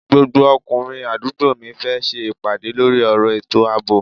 Gbogbo ọkùnrin àdúgbò mi fẹ́ ṣe ìpàdé lórí ọ̀rọ̀ ètò àbò